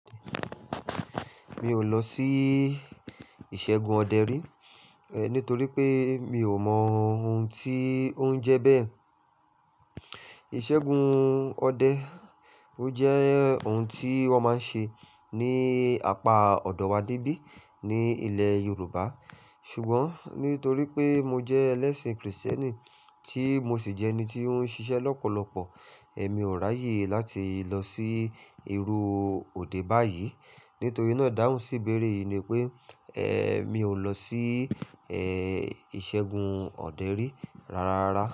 Mi ò lọ sí ìṣẹ́gun ọdẹ rí nítorí pé mi ò mọ ohun tí ó ń jẹ bẹ́ẹ̀. Ìṣẹ́gun ọdẹ ó jẹ́ ohun tí wọ́n máa ń ṣe ní apá ọ̀dọ̀ wa dé bí ní ilẹ̀ Yorùbá. Ṣùgbọ́n nítorí pé mo jẹ ẹlẹ́sìn Kristẹni tí mo sì jẹ́ ẹni tí ó ń ṣiṣẹ́ lọ́pọ̀lọpọ̀, ẹ mi ò ráyè láti lọ sí irú òde báyìí. Nítorí náà, ìdáhùn síbéèrè yìí ni pé ẹ mi ò lọ sí ẹ ìṣẹ́gun ọdẹ rí rárá.